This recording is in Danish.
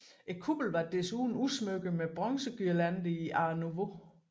Kuppelen var desuden udsmykket med bronzeguirlander i art nouveau